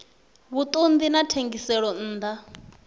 vhuṱun ḓi na thengiselonn ḓa